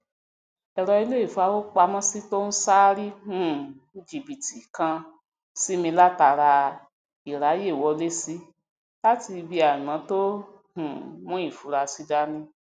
èrọ ileifowopamọ to n ṣaari um jibiti kan si mi latara irayewọlesi lati ibi aimọ to um mu ifurasi dani